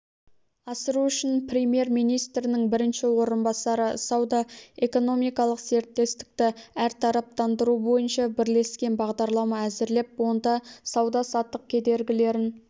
асыру үшін премьер-министрінің бірінші орынбасары сауда-экономикалық серіктестікті әртараптандыру бойынша бірлескен бағдарлама әзірлеп онда сауда-саттық кедергілерін